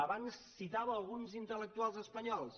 abans citava alguns intel·lectuals espanyols